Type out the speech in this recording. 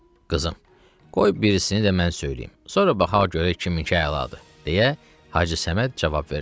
Qızım, qoy birisini də mən söyləyim, sonra baxaq görək kiminki əladır, — deyə Hacı Səməd cavab verdi.